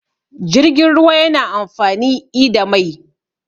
jirgin ruwa yana amfani i da Mai